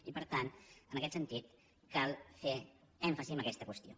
i per tant en aquest sentit cal fer èmfasi en aquesta qüestió